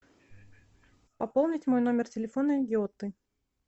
пополнить мой номер телефона йоты